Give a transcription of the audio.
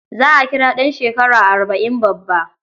Za a kira ɗan shekara arba' in babba.